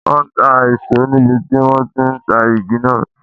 Wọn ń ta ìṣó níbi tí wọn ti ń ta igi náà.